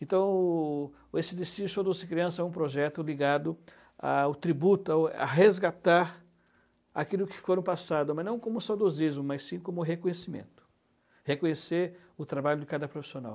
Então, esse destino crianças é um projeto ligado ao tributo, ao a resgatar aquilo que foi no passado, mas não como saudosismo, mas sim como reconhecimento, reconhecer o trabalho de cada profissional.